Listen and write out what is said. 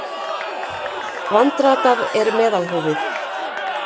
Vandratað er meðalhófið.